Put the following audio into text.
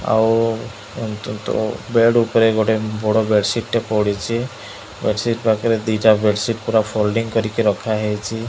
ଆଉ ଅନ୍ତତଃ ବେଡ ଉପରେ ଗୋଟେ ବଡ଼ ବେଡସୀଟ ଟେ ପଡିଚି ବେଡସୀଟ ପାଖରେ ଦିଟା ବେଡସୀଟ ପୁରା ଫୋଲ୍ଡିଂ କରିକି ରଖା ହେଇଚି।